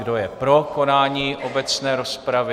Kdo je pro konání obecné rozpravy?